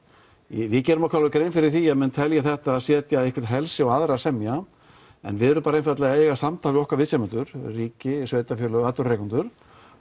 við gerðum okkur alveg grein fyrir því að menn telja þetta setja einhver á aðra semja við erum einfaldlega að eiga samtal við okkar viðsemjendur ríkið sveitarfélög atvinnurekendur